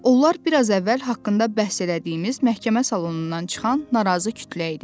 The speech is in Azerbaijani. Onlar biraz əvvəl haqqında bəhs elədiyimiz məhkəmə salonundan çıxan narazı kütlə idi.